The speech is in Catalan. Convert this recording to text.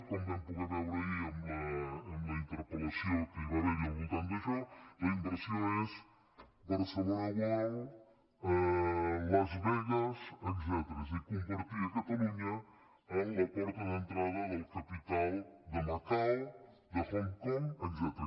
com vam poder veure ahir en la interpel·lació que hi va ha·ver al voltant d’això la inversió és barcelona world las vegas etcètera és a dir convertir catalunya en la porta d’entrada del capital de macao de hong kong etcètera